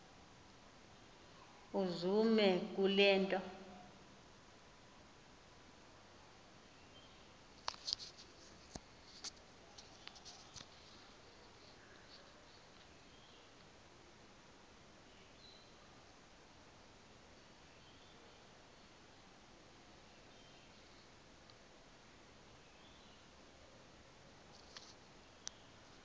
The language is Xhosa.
uzume kule nto